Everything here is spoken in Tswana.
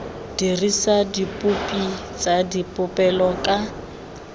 dirisa dipopi tsa dipolelo ka